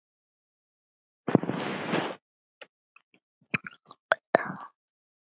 Það lýsir frænku vel.